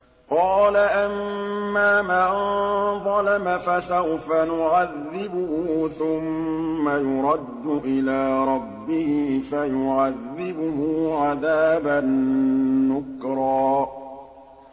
قَالَ أَمَّا مَن ظَلَمَ فَسَوْفَ نُعَذِّبُهُ ثُمَّ يُرَدُّ إِلَىٰ رَبِّهِ فَيُعَذِّبُهُ عَذَابًا نُّكْرًا